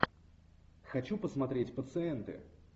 хочу посмотреть пациенты